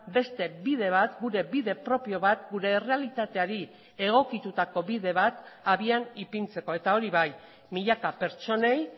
beste bide bat gure bide propio bat gure errealitateari egokitutako bide bat abian ipintzeko eta hori bai milaka pertsonei